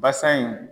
Basa in